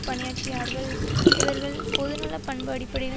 பணியாற்றியார்கள் இவர்கள் பொதுநலப் பண்பு அடிப்படையில்